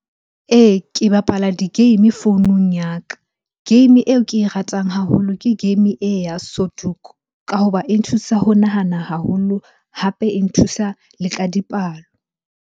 Ee, ke bapala di-game founung ya ka. Game eo ke e ratang haholo ke game e ya sudoku ka hoba e nthusa ho nahana haholo, hape e nthusa le ka dipalo.